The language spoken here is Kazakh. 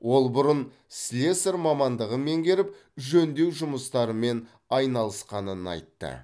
ол бұрын слесарь мамандығын меңгеріп жөндеу жұмыстарымен айналысқанын айтты